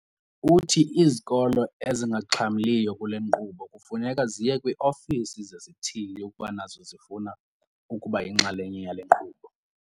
Uthi izikolo ezingaxhamliyo kule nkqubo kufuneka ziye kwii-ofisi zesithili ukuba nazo zifuna ukuba yinxalenye yale nkqubo.